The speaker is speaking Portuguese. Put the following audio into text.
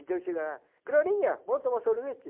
Então chega lá, Glorinha, vamos tomar sorvete?